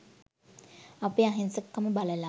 අපේ අහිංසකකම බලලා